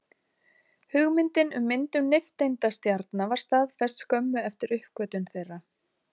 Hugmyndin um myndun nifteindastjarna var staðfest skömmu eftir uppgötvun þeirra.